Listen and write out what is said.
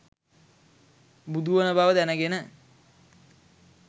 බුදුවන බව දැනගෙන